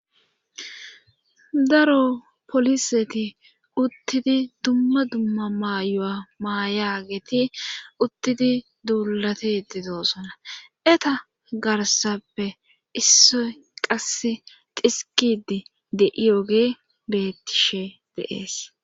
daro poliseti uttidi dumma dumma maayuwala maayageeti uttidi duulatidi doosona eta garsappe issoy qasse xiskidi de7iyoge beettishe de'ees